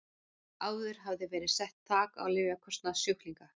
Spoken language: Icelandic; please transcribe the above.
Áður hafði verið sett þak á lyfjakostnað sjúklinga.